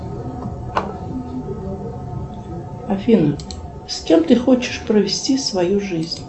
афина с кем ты хочешь провести свою жизнь